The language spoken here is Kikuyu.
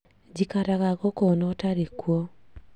Njikaraga gũkũ ona ũtarĩ kuo